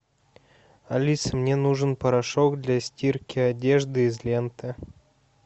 алиса мне нужен порошок для стирки одежды из ленты